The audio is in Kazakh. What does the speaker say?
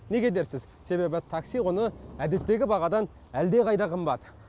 неге дерсіз себебі такси құны әдеттегі бағадан әлдеқайда қымбат